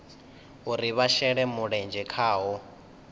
uri vha shele mulenzhe khaho